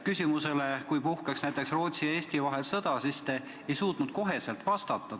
Küsimusele, kui puhkeks näiteks Rootsi ja Eesti vahel sõda, te ei suutnud kohe vastata.